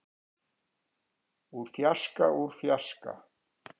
úr fjarska úr fjarska.